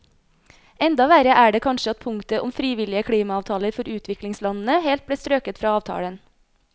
Enda verre er det kanskje at punktet om frivillige klimaavtaler for utviklingslandene helt ble strøket fra avtalen.